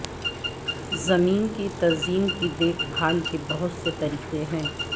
زمین کی تزئین کی دیکھ بھال کے بہت سے طریقے ہیں